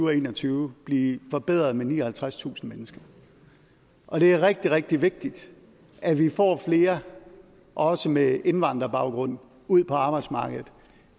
og en og tyve blive forbedret med nioghalvtredstusind mennesker og det er rigtig rigtig vigtigt at vi får flere også med indvandrerbaggrund ud på arbejdsmarkedet